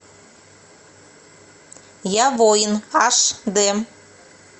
я воин аш дэ